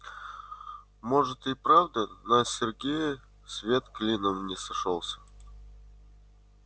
может и правда на сергее свет клином не сошёлся